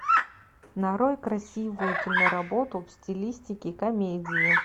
нарой красивую киноработу в стилистике комедия